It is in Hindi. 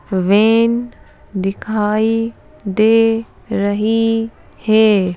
वेन दिखाई दे रही है।